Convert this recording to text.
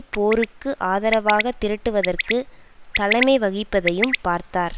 போருக்கு ஆதரவாக திரட்டுவதற்கு தலைமைவகிப்பதையும் பார்த்தார்